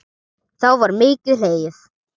þá var mikið hlegið.